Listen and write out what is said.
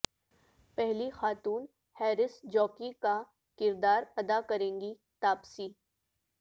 پہلی خاتون horse jockey کا کردار ادا کریں گی تاپسی